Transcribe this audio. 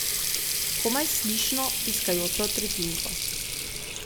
Komaj slišno, piskajočo tretjinko.